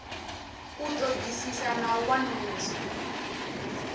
u ṱoḓisisa na u wanulusa